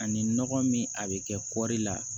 Ani nɔgɔ min a bɛ kɛ kɔri la